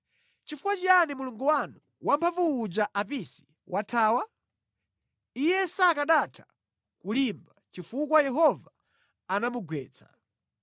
Chifukwa chiyani mulungu wanu wamphamvu uja Apisi wathawa? Iye sakanatha kulimba chifukwa Yehova anamugwetsa.